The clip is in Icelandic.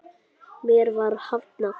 Mér var hafnað.